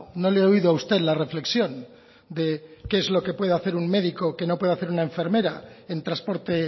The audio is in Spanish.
no le he oído a usted la reflexión de qué es lo que puede hacer un médico que no puede hacer una enfermera en transporte